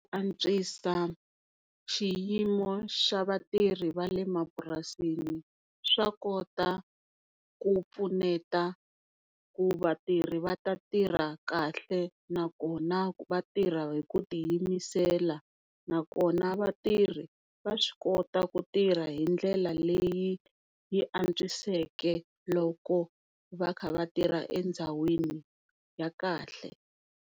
Ku antswisa xiyimo xa vatirhi va le mapurasini swa kota ku pfuneta ku vatirhi va ta tirha kahle nakona va tirha hi ku tiyimisela nakona vatirhi vaswi kota ku tirha hindlela leyi yi antswiseke loko va kha va tirha endhawini ya kahle.